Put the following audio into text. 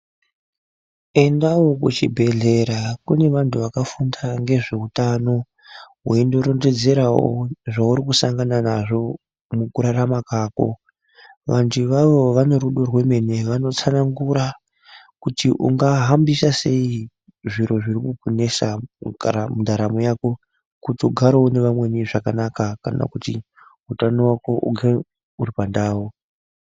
Endawo kuchibhedhlera kune vantu vakafunda ngezveutano, weindorondedzera zveuri kushangana nazvo mukurarama kwako. Vantu ivavo vane rudo rwemene. Vanotsanangura kuti ungahambisa sei zviro zviri kukunesa kugara mundaramo yako kuti ugare nevamweni zvakanaka kana kuti utano hwako ugare huri pandau.